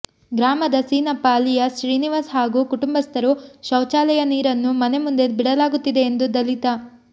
ಗ್ರಾಮದ ಸೀನಪ್ಪ ಅಲಿಯಾಸ್ ಶ್ರೀನಿವಾಸ್ ಹಾಗೂ ಕುಟುಂಬಸ್ಥರು ಶೌಚಾಲಯ ನೀರನ್ನು ಮನೆ ಮುಂದೆ ಬಿಡಲಾಗುತ್ತಿದೆ ಎಂದು ದಲಿತ